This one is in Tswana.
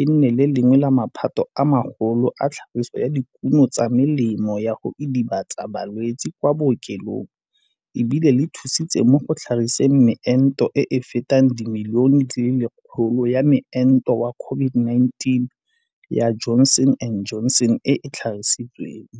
e nne le lengwe la maphata a magolo a tlhagiso ya dikuno tsa melemo ya go idibatsa balwetse kwa bookelong e bile le thusitse mo go tlhagiseng meento e e fetang dimilione di le 100 ya moento wa COVID-19 ya Johnson and Johnson e e tlhagisitsweng.